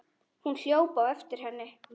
Hún hljóp á eftir henni.